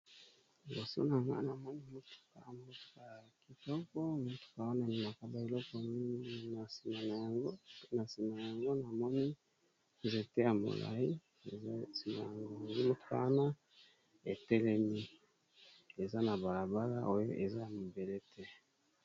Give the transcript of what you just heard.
Liboso na nga na moni motuka, motuka ya kitoko motuka wana ememaka ba eloko mingi na nsima nango. Na sima nango na moni nzete ya molayi eza sima nango mitano etelemi, eza na bala bala oyo eza na mabele te.